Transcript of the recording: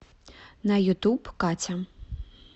на ютуб катя